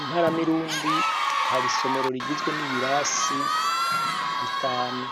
Imparamirundi har'isomero rigizwe n'ibirasi bitanu.